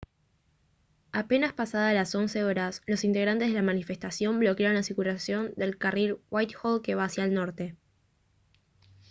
apenas pasadas las 11:00 h los integrantes de la manifestación bloquearon la circulación del carril de whitehall que va hacia el norte